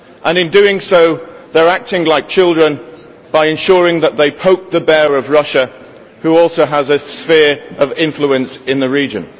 In doing so, they are acting like children by ensuring that they poke the bear of Russia which also has a sphere of influence in the region.